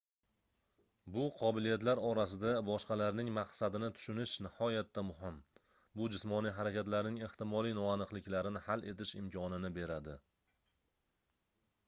bu qobiliyatlar orasida boshqalarning maqsadini tushunish nihoyatda muhim bu jismoniy harakatlarning ehtimoliy noaniqlikarini hal etish imkonini beradi